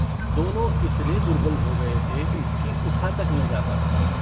दोनो इतने दुर्बल हो गये थे कि उठा तक न जाता था।